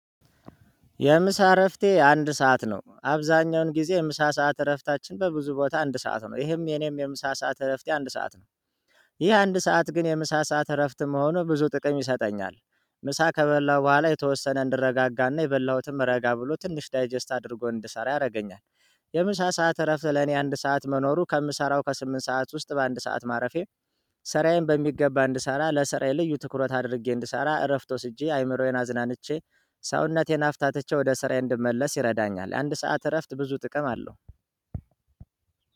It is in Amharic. የምሳ እረፍቴ አንድ ሰዓት ነው። አብዛኛውን ጊዜ የምሳ ሰዓት እረፍታችን በብዙ ቦታ አንድ ሰዓት ነው። ይህም የኔም የምሳ ሰዓት እረፍቴ የአንድ ሰዓት ነው። ይህ አንድ ሰዓት ግን የምሳ ሰዓት እረፍት መሆኑ ብዙ ጥቅም ይሰጠኛል። ምሳ ከበላሁ በኋላ የተወሰነ እንድረጋጋና የበላሁትም ረጋ ብሎ ትንሽ ዳይጀስት አድርጎ እንድሰራ ያደርገኛል። የምሳ ሰዓት እረፍት ለኔ አንድ ሰዓት መኖሩ ከምሰራው ከስምንት ሰዓት ውስጥ በአንድ ሰዓት ማረፌ ሰራዬን በሚገባ እንድሰራ ለሰራዬ ልዩ ትኩረት አድርጌ እንድሰራ እረፍት ወስጄ አይምሮዬን አዝናንቼ ሰውነቴን አፍታተቼ ወደ ስራዬ እንድመለስ ይረዳኛል። የአንድ ሰዓት እረፍት ብዙ ጥቅም አለው።